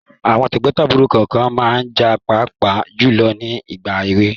Àwọn tẹ̀gbọ́n tàbúrò kànkan ma ń jà pàápàá jùlọ ní ìgbà èwe.